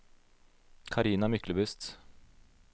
Carina Myklebust